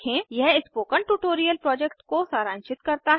यह spoken tutorial project को सारांशित करता है